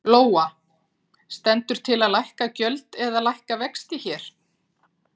Lóa: Stendur til að lækka gjöld eða lækka vexti hér?